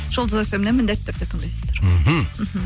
жұлдыз фм нен міндетті түрде тыңдайсыздар мхм